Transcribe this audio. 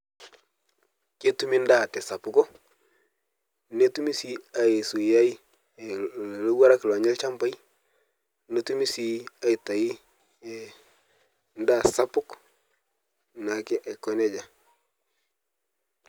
Ketumi endaa tesapuko, netumi sii aisuiyai ilowuarak oonya ilchambai netumi sii atai endaa sapuk naake aikonejia